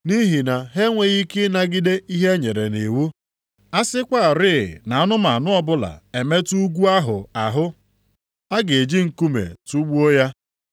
Nʼihi na ha enweghị ike ịnagide ihe e nyere nʼiwu, “A sịkwarị na anụmanụ ọbụla emetụ ugwu ahụ ahụ, a ga-eji nkume tugbuo ya.” + 12:20 \+xt Ọpụ 19:12,13\+xt*